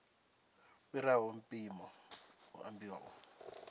fhiraho mpimo hu ambiwa u